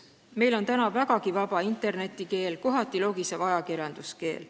Meil on vägagi vaba internetikeel, kohati logisev ajakirjanduskeel.